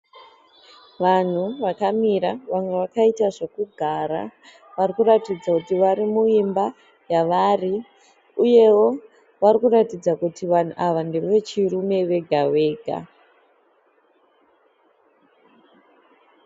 Vanhu vakamira vamwe vakaita zvekugara. Vari kuratidza kuti vari muimba yavari uyewo vari kuratidza kuti vanhu ndevechirume vega vega.